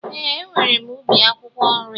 Ee, e nwèrè m ubi akwụkwọ nri